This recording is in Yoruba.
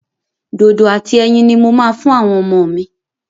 Dodo àti ẹyin ni mo máa fún àwọn ọmọ mi.